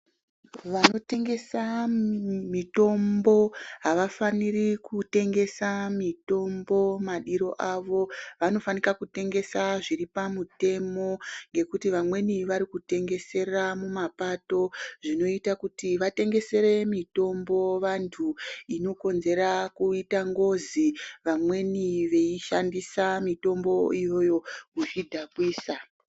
Vanotengesa mitombo havafaniri kutengesa mitombo madiro avo vanofanika kutengesa zviri pamutemo ngekuti vamweni varikutengesera mumapato zvinoita kuti vatengesere mitombo vantu inonzera kuita ngozi vamweni veishandisa mitombo iyoyo kuzvidhakwisa.